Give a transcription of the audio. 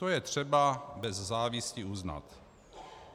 To je třeba bez závisti uznat.